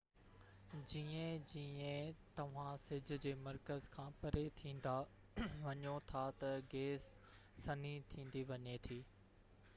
جيئن جيئن توهان سج جي مرڪز کان پري ٿيندا وڃو ٿا ته گئس سنهي ٿيندي وڃي ٿي